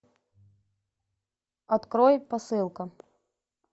открой посылка